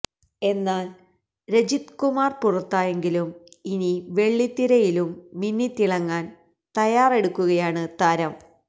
എന്നാൽ രജിത് കുമാർ പുറത്തായെങ്കിലും ഇനി വെള്ളിത്തിരയിലും മിന്നിതിളങ്ങാൻ തയ്യാറാടെക്കുകയാണ് താരം